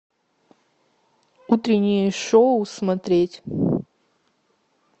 утреннее шоу смотреть